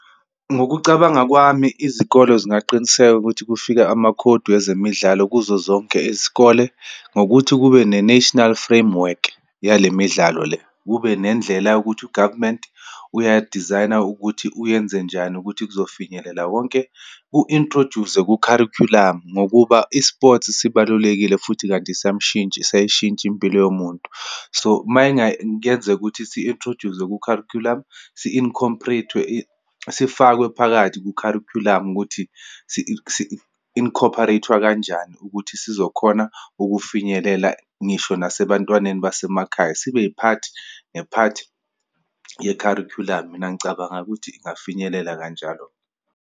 Ngokucabanga kwami, izikolo zingaqiniseka ukuthi kufika amakhodi wezemidlalo kuzo zonke izikole, ngokuthi kube ne-national framework, yale midlalo le. Kube nendlela yokuthi u-government uyadizayina ukuthi uyenzenjani ukuthi kuzofinyelela wonke. Ku-introduce-zwe kukharikhulamu ngokuba i-sports sibalulekile futhi, kanti siyayishintsha impilo yomuntu. So, uma ngayenzeka ukuthi si-introduce-zwe ku-curriculum, sifakwe phakathi kukharikhulamu, ukuthi si-incorporate-wa kanjani ukuthi sizokhona ukufinyelela, ngisho nasebantwaneni basemakhaya, sibe i-part ne part yekharikhulamu. Mina, ngicabanga ukuthi ingafinyelela kanjalo.